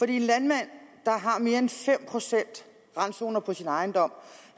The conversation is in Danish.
en landmand har mere end fem procent randzoner på sin ejendom